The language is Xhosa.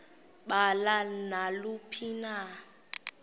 balo naluphi na